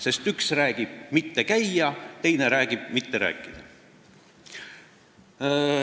Sest üks ütleb "mitte käia", teine ütleb "mitte rääkida".